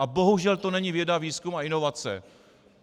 A bohužel to není věda, výzkum a inovace.